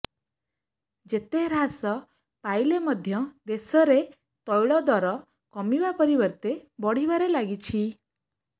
ଯେତେ ହ୍ରାସ ପାଇଲେ ମଧ୍ୟ ଦେଶରେ ତୈଳ ଦର କମିବା ପରିବର୍ତ୍ତେ ବଢିବାରେ ଲାଗିଛି